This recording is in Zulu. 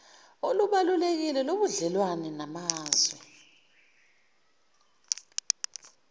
olubalulekile lobudlelwane namazwe